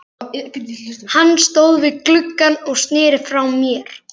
Hann stóð við gluggann og sneri frá mér.